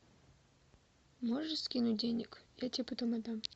можешь скинуть денег я тебе потом отдам